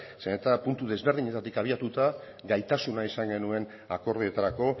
zeren eta puntu desberdinetatik abiatuta gaitasuna izan genuen akordioetarako